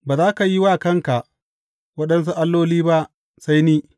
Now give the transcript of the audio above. Ba za ka yi wa kanka waɗansu alloli ba sai ni.